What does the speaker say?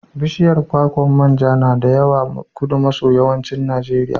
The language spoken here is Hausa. Bishiyar kwakwar man ja na da yawa Kudu maso yammancin Najeriya.